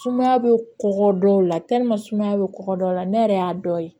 Sumaya bɛ kɔgɔ dɔ la sumaya bɛ kɔgɔ dɔ la ne yɛrɛ y'a dɔ ye